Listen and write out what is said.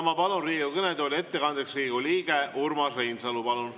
Ma palun Riigikogu kõnetooli ettekandeks Riigikogu liikme Urmas Reinsalu.